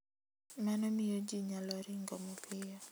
Mano miyo ji nyalo ringo mapiyo.